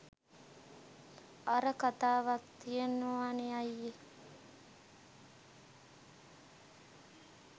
අර කතාවක් තියෙනවනෙ අයියෙ